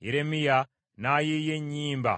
Yeremiya n’ayiiya ennyimba